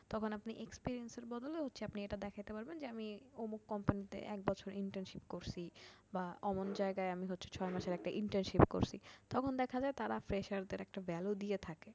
তখন আপনি experience এর বদলে হচ্ছে আপনি এটা দেখাতে পারবেন যে আমি অমুক company তে এক বছর internship করছি বা অমুক যায়গায় আমি হচ্ছে ছয় মাসের একটা internship করছি। তখন দেখা যায় তারা freshers দের একটা value দিয়ে থাকে